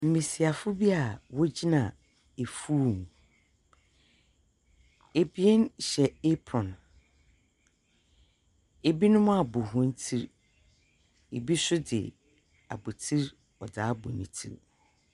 Mmasiwafoɔ bi a wɔn gyina afuom ɛbinom hyɛ apron ɛbinom abɔ wɔn ti ɛbinom nso de abotire abɔ wɔn ti.